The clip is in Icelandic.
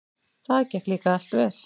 Það gekk líka allt vel.